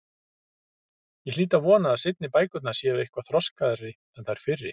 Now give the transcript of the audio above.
Ég hlýt að vona að seinni bækurnar séu eitthvað þroskaðri en þær fyrri.